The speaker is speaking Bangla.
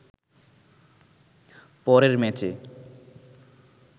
পরের ম্যাচে